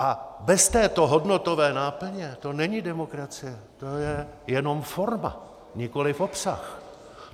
A bez této hodnotové náplně to není demokracie, to je jenom forma, nikoliv obsah.